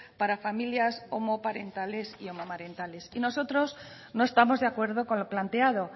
para familias homoparentales y homomarentales y nosotros no estamos de acuerdo con lo planteado